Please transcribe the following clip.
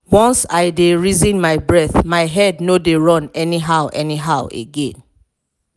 once i dey reason my breath my head no dey run anyhow anyhow again.